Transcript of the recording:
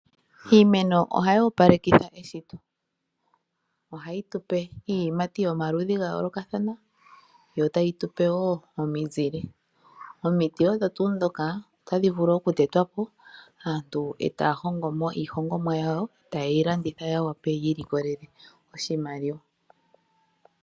Iimeno ohayi opalekitha eshito. Ohayi tupe iiyimati yomaludhi gayoolokathana, yo tayi tupe wo omizile. Omiti odho tuu dhoka, otadhi vulu okutetwa po, aantu e taya hongomo iihongomwa yawo, ta ye yi landitha ya wape yi ilikolele oshimaliwa.